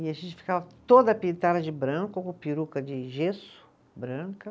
E a gente ficava toda pintada de branco, com peruca de gesso branca.